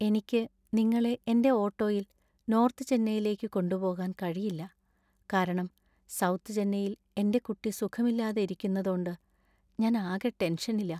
എനിക്ക് നിങ്ങളെ എന്‍റെ ഓട്ടോയിൽ നോർത്ത് ചെന്നൈയിലേക്ക് കൊണ്ടുപോകാൻ കഴിയില്ല, കാരണം സൗത്ത് ചെന്നൈയിൽ എന്‍റെ കുട്ടി സുഖമില്ലാതെ ഇരിക്കുന്നതോണ്ട് ഞാൻ ആകെ ടെൻഷനിലാ.